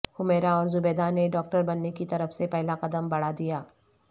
حمیرہ اور زبیدہ نے ڈاکٹر بننے کی طرف پہلا قدم بڑھادیا